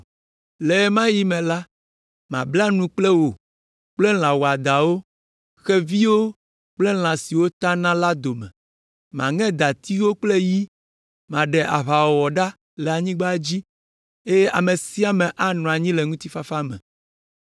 Le ɣe ma ɣi me la, mabla nu le wò kple lã wɔadãwo, xeviwo, kple lã siwo tana la dome, maŋe dati kple yi, maɖe aʋawɔwɔ ɖa le anyigba dzi, eye ame sia ame anɔ anyi le ŋutifafa me.